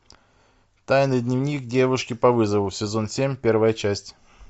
тайный дневник девушки по вызову сезон семь первая часть